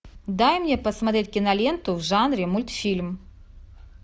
дай мне посмотреть киноленту в жанре мультфильм